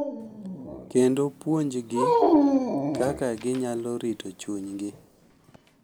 Kendo puonjgi kaka ginyalo rito chunygi.